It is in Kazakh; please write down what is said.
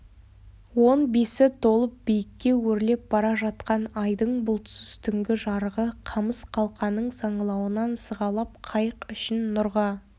он бесі толып биікке өрлеп бара жатқан айдың бұлтсыз түнгі жарығы қамыс қалқаның саңылауынан сығалап қайық ішін нұрға